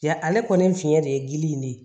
Ja ale kɔni fiɲɛ de ye gili in de ye